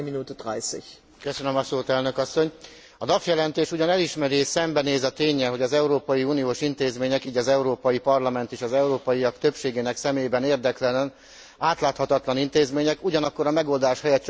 A Duff jelentés ugyan elismeri és szembenéz a ténnyel, hogy az európai uniós intézmények így az Európai Parlament is az európaiak többségének szemében érdektelen, átláthatatlan intézmények, ugyanakkor a megoldás helyett csak fokozza a káoszt.